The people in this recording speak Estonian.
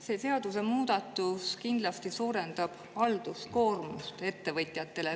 See seadusemuudatus kindlasti suurendab ettevõtjate halduskoormust.